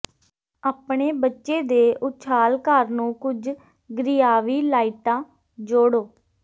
ਆਪਣੇ ਬੱਚੇ ਦੇ ਉਛਾਲ ਘਰ ਨੂੰ ਕੁਝ ਗ੍ਰੀਆਵੀ ਲਾਈਟਾਂ ਜੋੜੋ